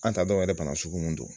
An t'a dɔn yɛrɛ bana sugu mun do.